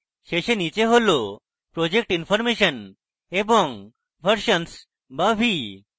শেষে নীচে হল project information এবং versions বা v